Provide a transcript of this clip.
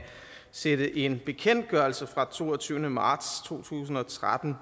sætte en bekendtgørelse fra den toogtyvende marts to tusind og tretten